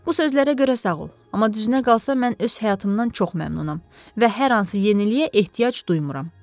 Bu sözlərə görə sağ ol, amma düzünə qalsa mən öz həyatımdan çox məmnunam və hər hansı yeniliyə ehtiyac duymuram.